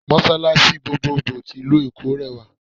Mọ́sàlàṣí gbogboògbò tí ìlú-Èkó rẹwà